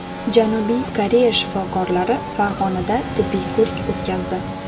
Janubiy Koreya shifokorlari Farg‘onada tibbiy ko‘rik o‘tkazdi.